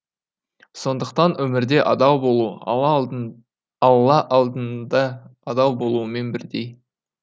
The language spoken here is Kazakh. сондықтан өмірде адал болу ала алла алдында адал болумен бірдей